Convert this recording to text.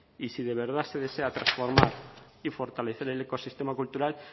y si de verdad se desea transformar y fortalecer el ecosistema cultural